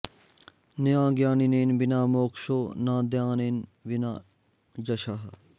न ज्ञानेन विना मोक्षो न दानेन विना यशः